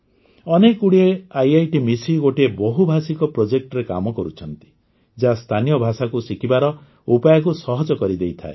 ଅନେକଗୁଡ଼ିଏ IITମିଶି ଗୋଟିଏ ବହୁଭାଷିକ ପ୍ରୋଜେକ୍ଟ ରେ କାମ କରୁଛନ୍ତି ଯାହା ସ୍ଥାନୀୟ ଭାଷାକୁ ଶିଖିବାର ଉପାୟକୁ ସହଜ କରିଦେଇଥାଏ